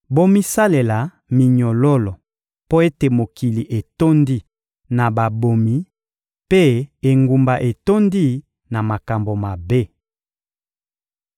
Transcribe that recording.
Bomisalela minyololo mpo ete mokili etondi na babomi mpe engumba etondi na makambo mabe.